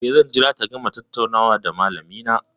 Eh, zan jira ta gama tattaunawa da malamina.